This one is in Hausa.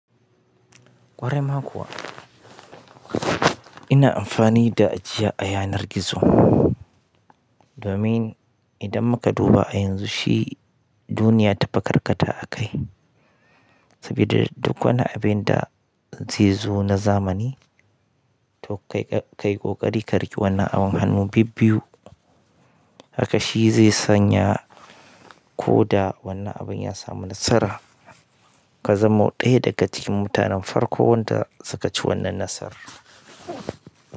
Ƙwarai ma kuwa. Ina amfani da ajiya a yanar gizo domin idan muka duba a yanzu shi duniya ta fi karkata a kai. Saboda duk wani abin da zai zo na zamani to kai ƙoƙari ka riƙi wannan abin hannu bibbiyu haka shi zai sanya ko da wannan abin ya samu nasara ka zama ɗaya daga cikin mutanen farko wanda suka ci wannan nasara.